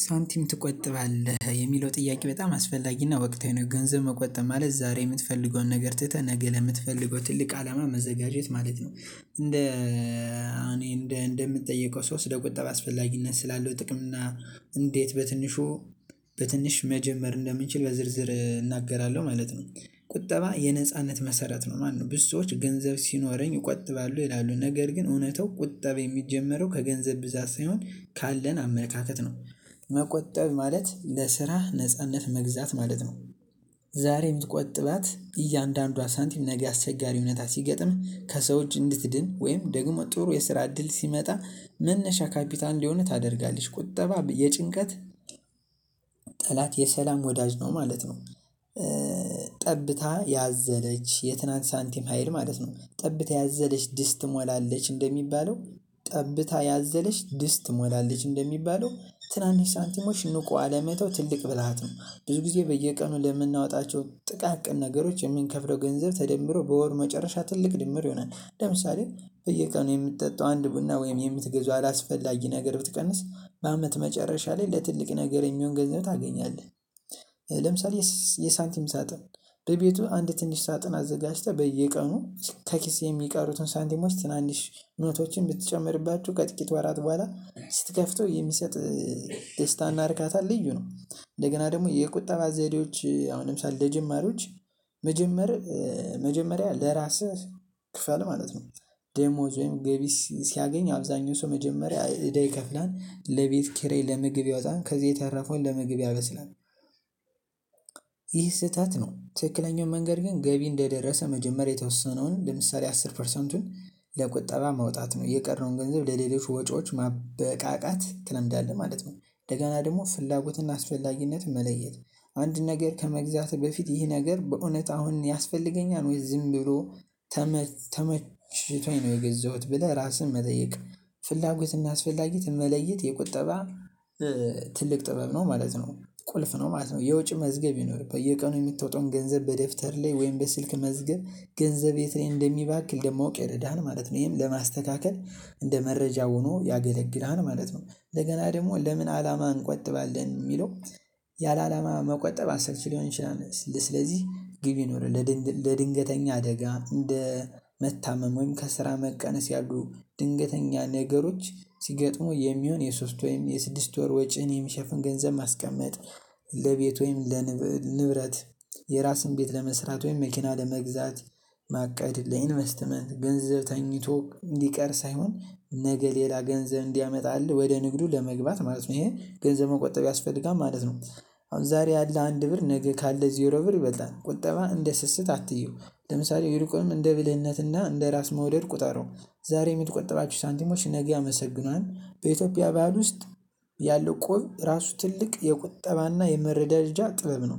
ሳንቲም ትቆጥባለህ የሚለው ጥያቄ በጣም አስፈላጊና ወቅታዊ ነው። ገንዘብ መቆጠብ ማለት ዛሬ የምትፈልገውን ነገር ትተህ ነገ ለምትፈልገው ትልቅ አላማ መዘጋጀት ማለት ነው። እንደ እኔ እንደ እንደምጠይቀው ሰው ስለ ቁጠባ አስፈላጊነት ስላለው ጥቅም እና እንዴት በትንሹ በትንሽ መጀመር እንደምንችል በዝርዝር እናገራለሁ ማለት ነው። ቁጠባ የነጻነት መሰረት ነው ማለት ነው። ብዙ ሰዎች ገንዘብ ሲኖረኝ እቆጥባለሁ ይላሉ ነገር ግን እውነታው ቁጠባ የሚጀመረው ከገንዘብ ብዛት ሳይሆን ካለን አመለካከት ነው። መቆጠብ ማለት ለስራህ ነጻነት መግዛት ማለት ነው። ዛሬ የምትቆጥባት እያንዳንዷ ሳንቲም ነገ አስቸጋሪ እውነታ ሲገጥም ከሰው እጅ እንድትድን ወይም ደግሞ ጥሩ የስራ እድል ሲመጣ መነሻ ካፒታል እንዲሆንህ ታደርጋለች። ቁጠባ የጭንቀት ጠላት የሰላም ወዳጅ ነው ማለት ነው። ጠብታ ያዘለች የትናንት ሳንቲም ሀይል ማለት ነው። ጠብታ ያዘለች ድስት ትሞላለች እንደሚባለው ጠብታ ያዘለች ድስት ትሞላለች እንደሚባለው ትናንሽ ሳንቲሞች ንቆ አለመተው ትልቅ ብልሃት ነው። ብዙ ጊዜ በየቀኑ ለምናወጣቸው ጥቃቅን ነገሮች የምንከፍለው ገንዘብ ተደምሮ በወር መጨረሻ ትልቅ ድምር ይሆናል። ለምሳሌ በየቀኑ የምትጠጣው አንድ ቡና ወይም የምትገዛው አላስፈላጊ ነገር ብትቀንስ በአመት መጨረሻ ላይ ለትልቅ ነገር የሚሆን ገንዘብ ታገኛለህ። ለምሳሌ የሳንቲም ሳጥን። በቤቱ አንድ ትንሽ ሳጥን አዘጋጅተህ በየቀኑ ከኪስ የሚቀሩትን ሳንቲሞች ትናንሽ ኖቶችን ብትጨምርባችሁ ከጥቂት ወራት በኋላ ስትከፍተው የሚሰጥ ደስታን እርካታ ልዩ ነው። እንደገና ደግሞ የቁጠባ ዘዴዎች አሁን ለምሳሌ ለጀማሪዎች መጀመር መጀመሪያ ለራስህ ክፈል ማለት ነው። ደሞወዝ ወይም ገቢ ሲያገኝ አብዛኛው ሰው መጀመሪያ እዳ ይከፍላል ለቤት ኪራይ ለምግብ ያወጣል ከዚህ የተረፈውን ለምግብ ያበስላል። ይህ ስህተት ነው። ትክክለኛው መንገድ ግን ገቢ እንደደረሰ መጀመሪያ የተወሰነውን ለምሳሌ አስር ፐርሰንቱን ለቁጠባ ማውጣት ነው። የቀረውን ገንዘብ ለሌሎች ወጪዎች ማበቃቃት ትለምዳለህ ማለት ነው። እንደገና ደግሞ ፍላጎትና አስፈላጊነት መለየት አንድ ነገር ከመግዛትህ በፊት ይህ ነገር በእውነት አሁን ያስፈልገኛል? ወይ ዝም ብሎ ተመችቶኝ ነው የገዘሁት ብለህ ራስህን መጠየቅ። ፍላጎትና እና አስፈላጊት መለየት የቁጠባ ትልቅ ጥበብ ነው ማለት ነው። ቁልፍ ነው ማለት ነው። የወጭ መዝገብ ይኑርህ በየቀኑ የምታወጣውን ገንዘብ በደፍተርህ ላይ ወይም በስልክ መዝገብ። ገንዘብ የት እኔ እንደሚባክን ደግሞ ለማወቅ ይረዳሃል ማለት ነው። ይሄን ለማስተካከል እንደ መረጃ ሆኖ ያገለግላል ማለት ነው። እንደገና ደግሞ ለምን አላማ እንቆጥባለን ሚለው ያለአላማ መቆጠብ አሰልች ሊሆን ይችላል። ስለዚህ ግብ ይኖረን። ለድንገተኛ አደጋ እንደ መታመም ወይም ከስራ መቀነስ ያሉ ድንገተኛ ነገሮች ሲገጥሙ የሚሆን የሶስት ወይም የስድስት ወር ወጪን የሚሸፍን ገንዘብ ማስቀመጥ። ለቤት ወይም ለንብረት የራስን ቤት ለመስራት ወይም መኪና ለመግዛት። ማቀድ ለኢንቨስትመንት ገንዘብ ተኝቶ ሊቀር ሳይሆን ነገ ሌላ ገንዘብ እንዲያመጣህ ወደ ንግዱ ለመግባት ማለት ነው። ይሄን ገንዘብ መቆጠብ ያስፈልጋል ማለት ነው። አሁን ዛሬ ያለ አንድ ብር ነገ ካለ ዜሮ ብር ይበልጣል ቁጠባ እንደ ስስት አትየው። ለምሳሌ ይልቁንም እንደ ብልህነት እና እንደ ራስ መውደድ ቁጠረው። ዛሬ የምትቆጠባቸው ሳንቲሞች ነገ ያመሰግናል። በኢትዮጵያ ባህል ውስጥ ያለው እቁብ ራሱ ትልቅ የቁጠባና የመረዳጃ ጥበብ ነው።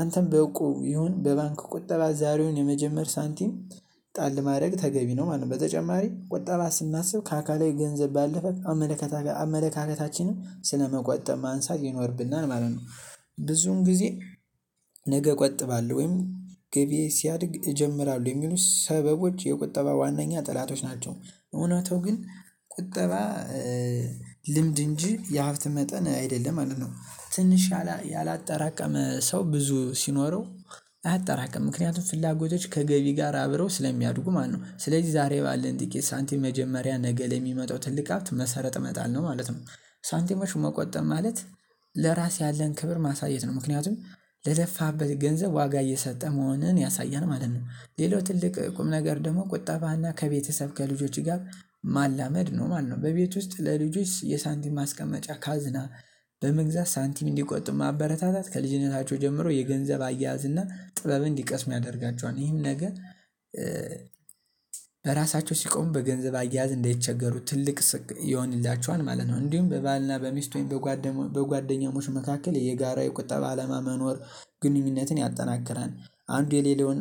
አንተም በእቁቡ ይሁን በባንክ ቁጠባ ዛሬውን የመጀመር ሳንቲም ጣል ማድረግ ተገቢ ነው ማለት ነው። በተጨማሪ ቁጠባ ስናስብ ከአካላዊ ገንዘብ ባለፈ አመለካከታችንም ስለመቆጠብ ማንሳት ይኖርብናል ማለት ነው። ብዙም ጊዜ ነገ እቆጥባለሁ ወይም ገቢየ ሲያድግ እጀምራለሁ የሚሉ ሰበቦች የቁጠባ ዋናኛ ጠላቶች ናቸው። እውነታው ግን ቁጠባ ልምድ እንጂ የሀብት መጠን አይደለም ማለት ነው። ትንሽ ያላጠራቀመ ሰው ብዙ ሲኖረው አጠራቅምም ምክንያቱም ፍላጎቶች ከገቢ ጋር አብረው ስለሚያድጉ ማለት ነው። ስለዚህ ዛሬ ባለን ጥቂት ሳንቲም መጀመሪያ ነገ ለሚመጣው ትልቅ ሀብት መሰረት መጣል ነው። ማለትም ሳንቲሞች መቆጠብ ማለት ለራስ ያለን ክብር ማሳየት ነው። ምክንያቱም ለለፋበት ገንዘብ ዋጋ እየሰጠ መሆንህን ያሳያል ማለት ነው። ሌላው ትልቅ ቁም ነገር ደግሞ ቁጠባና ከቤተሰብ ከልጆች ጋር ማላመድ ነው ማለት ነው። በቤት ውስጥ ለልጆች የሳንቲም ማስቀመጫ ካዝና በመግዛት ሳንቲም እንዲቆጥብ ማበረታታት ከልጅነታቸው ጀምሮ የገንዘብ አያያዝ እና ጥበብ እንዲቀስም ያደርጋቸዋል። ይህን ነገር በራሳቸው ሲቆም በገንዘብ አያያዝ እንደይቸገሩ ትልቅ ይሆንላቸዋል ማለት ነው። እንዲሁም በባልና በሚስት በጓደኛሞች መካከል የጋራ የቁጠባ አላማ መኖር ግንኙነትን ያጠናክራል። አንዱ የሌላውን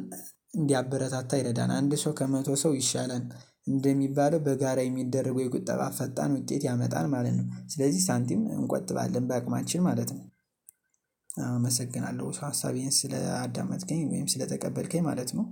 እንዲያበረታታ ይረዳናል። አንድ ሰው ከመቶ ሰው ይሻላል። እንደሚባለው በጋራ የሚደረገው የቁጠባ ፈጣን ውጤት ያመጣል ማለት ነው። ስለዚህ ሳንቲም እንቆጥባለን ባአቅማችን ማለት ነው። አመሰግናለሁ ሀሳቤን ስለአዳመጥከኝ ወይም ስለተቀበልከኝ ማለት ነው